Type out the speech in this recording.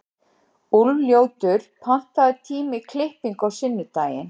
Úlfljótur, pantaðu tíma í klippingu á sunnudaginn.